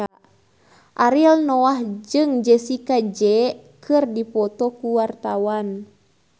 Ariel Noah jeung Jessie J keur dipoto ku wartawan